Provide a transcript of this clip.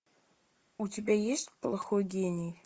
у тебя есть плохой гений